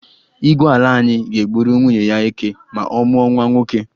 Igwe ala anyị ga-egburu nwunye ya eké ma ọ mụọ nwa nwoke.